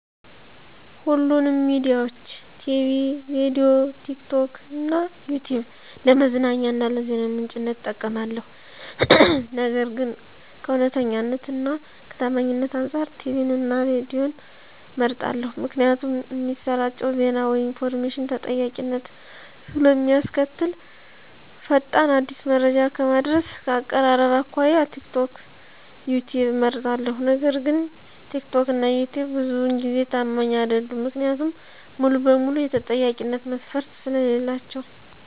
ሁሉንም ሚዲያዊች -ቲቪ፤ ሬድዬ፤ ቲክቶክ እና ይትዩብ ለመዝናኛ እና ለዜና ምንጭነት እጠቀማለሁ። ነገር ግን ከእውነተኛነት እና ከታማኝነት አንፃር ቲቪን እና ሬድዬን እመርጣለሁ ምክንያቱም እሚሰራጨው ዜና ወይም ኢንፎርሜሽን ተጠያቂነትን ስለእሚያስከትል። ፈጣን፤ አዲስ መረጃ ከማድረስ፤ ከአቀራረብ አኮያ ቲክቶክ፤ ዩትዩብ እመርጣለሁ። ነገር ግን ትክትክ እና ይትዩብ ብዙውን ጊዜ ታማኝ አይደሉም። ምክንያቱም ሙሉ በሙሉ የተጠያቂነት መስፈርት ስለሌላቸው።